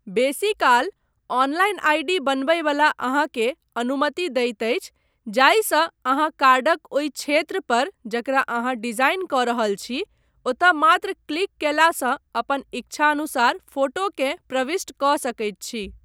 बेसीकाल, online ID. बनबयवला अहाँकेँ अनुमति दैत अछि जाहिसँ अहाँ कार्डक ओहि क्षेत्र पर जकरा अहाँ डिजाईन कऽ रहल छी ओतय मात्र क्लिक कयलासँ अपन ईच्छानुसार फोटोकेँ प्रविष्ट कऽ सकैत छी।